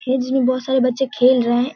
खेज में बहोत सारे बच्चे खेल रहे हैं।